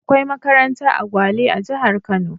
Akwai makaranta a Gwale a jihar Kano.